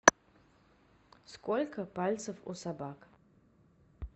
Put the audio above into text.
сколько пальцев у собак